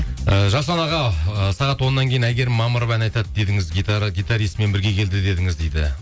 і жасұлан аға і сағат оннан кейін әйгерім мамырова ән айтады дедіңіз гитаристімен бірге келді дедіңіз дейді